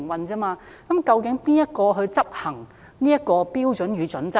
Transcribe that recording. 究竟誰執行《規劃標準與準則》呢？